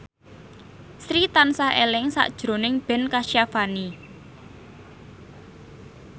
Sri tansah eling sakjroning Ben Kasyafani